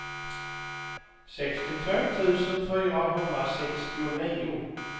sextiotvå tusen fyrahundrasextionio